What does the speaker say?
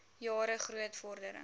jare groot vordering